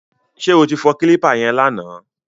Ṣé o ti fọ kílípà yẹn lánàá?